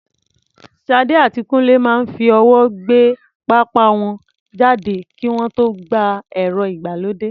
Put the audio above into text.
Sade àti Kunle máa ń fi ọwọ́ gbé pápá wọn jáde kí wọ́n tó gba ẹ̀rọ ìgbàlódé.